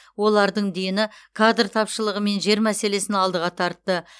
олардың дені кадр тапшылығы мен жер мәселесін алдыға тартты